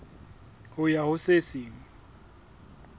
ho ya ho se seng